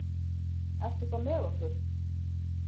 Ertu þá með okkur?